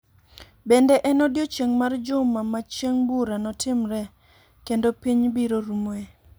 Bende en odiechieng' mar juma ma Chieng' bura notimree kendo piny biro rumoe.